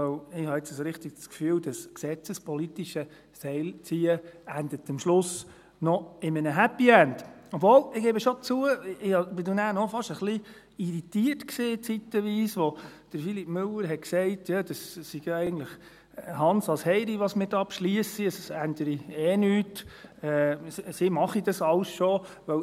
Denn ich habe jetzt so richtig das Gefühl, das gesetzespolitische Seilziehen ende am Schluss noch in einem Happy End, obwohl ich schon zugebe, dass ich nachher zeitweise fast ein wenig irritiert war, als Philippe Müller sagte, es sei ja eigentlich einerlei, was wir hier beschliessen, es ändere eh nichts, sie würden das alles schon machen.